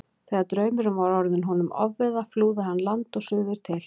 Þegar draumurinn var orðinn honum ofviða flúði hann land og suður til